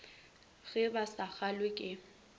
ge ba sa kgalwe ke